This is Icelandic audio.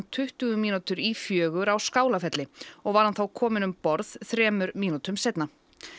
tuttugu mínútur í fjögur á Skálafelli og var hann kominn um borð þremur mínútum seinna